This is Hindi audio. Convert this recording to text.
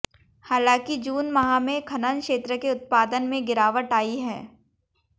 हालांकि जून माह में खनन क्षेत्र के उत्पादन में गिरावट आई है